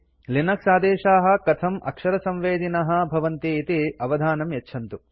Linux आदेशाः कथं अक्षरसंवेदिनः भवन्ति इति अवधानं यच्छन्तु